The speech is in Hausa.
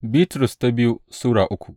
biyu Bitrus Sura uku